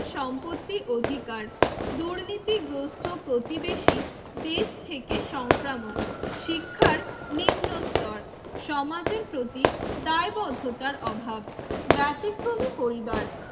সম্পত্তি অধিকার দুর্নীতি গ্রস্ত প্রতিবেশী দেশ থেকে সংক্রামক শিক্ষার নিম্নস্তর সমাজের প্রতীক দায়বদ্ধতার অভাব ব্যতিক্রমী পরিবার